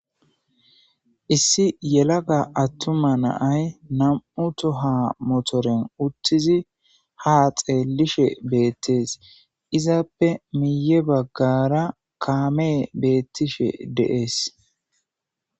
Issi yelaga attuma naay nam'u to ha motoren uttizi ha xeellishe beettees izaappe miye baggara kaamee beettishe deees.